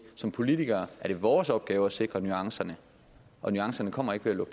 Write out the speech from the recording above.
som politikere er det vores opgave at sikre nuancerne og nuancerne kommer ikke